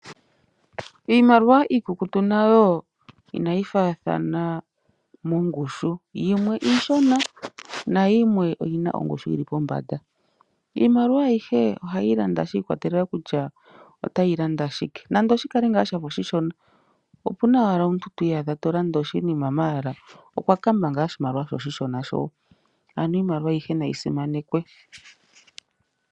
Iimaliwa iikukutu nayo inayi faathana mongushu, yimwe iishona, na yimwe oyina ongushu yili pombanda. Iimaliwa ayihe ohayi landa, shi ikwa telela kutya otayi landa shike. Nando shi kale ngaa oshishona, opena wala omuntu twii yadha to landa oshinima ihe okwa kamba oshimaliwa oshishona sho. Ano iimaliwa ayihe nayi simanekwe.